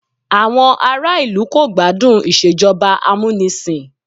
Àwọn ará ìlú kò gbádùn Ìṣèjọba amúnisìn